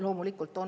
Loomulikult on.